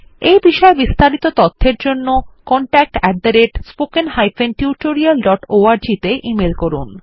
এই বিষয় বিস্তারিত তথ্যের জন্য contactspoken tutorialorg তে ইমেল করুন